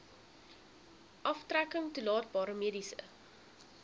aftrekking toelaatbare mediese